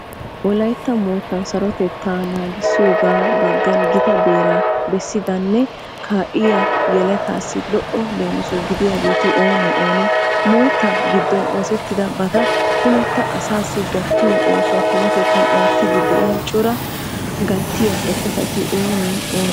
Wolaytta moottan sarotettaa naagissiyogaa baggan gita beeraa bessidanne kaalliya yeletaassi lo"o leemiso gidiyageeti oonee oonee? Moottaa giddon oosettidabata kumetta asaassi gattiyo oosuwa tumatettan oottiiddi de'iya coraa gattiya eqotati oonee oonee?